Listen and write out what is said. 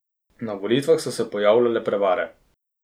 Na volitvah so se pojavljale prevare.